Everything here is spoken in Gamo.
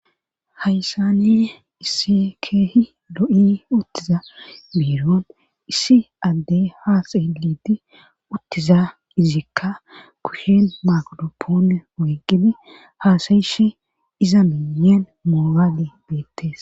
haysani iss keehi lo7i uttiza beiron issi adde haasayiliti uttiza izikka kushen makodoppoone wiggibe haasayishe iza miyen moobaale beettes